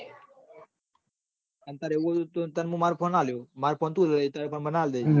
આ વાત રવિવારે મુ ત મારો phone આ લોય phone